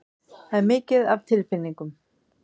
Það er mikið af tilfinningum.